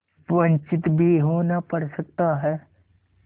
वंचित भी होना पड़ सकता है